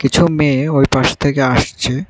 কিছু মেয়ে ওইপাশে থেকে আসছে।